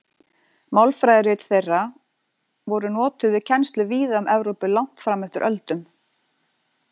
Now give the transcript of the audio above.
Málfræðirit þeirra voru notuð við kennslu víða um Evrópu langt fram eftir öldum.